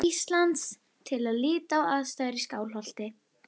Íslands til að líta á aðstæður í Skálholti.